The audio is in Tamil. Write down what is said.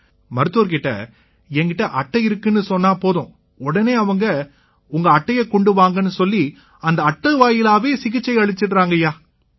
மருத்துவர் கிட்ட என் கிட்ட அட்டை இருக்குன்னு சொன்னா போதும் உடனே அவங்க உங்க அட்டையை கொண்டு வாங்கன்னு சொல்லி அந்த அட்டை வாயிலாவே சிகிச்சை அளிச்சுடறாங்கய்யா